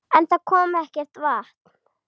En það kom ekkert vatn.